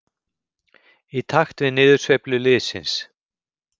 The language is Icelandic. Í takt við niðursveiflu liðsins.